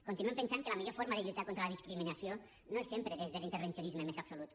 continuem pensant que la millor forma de lluitar contra la discriminació no és sempre des de l’intervencionisme més absolut